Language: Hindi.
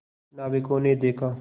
नाविकों ने देखा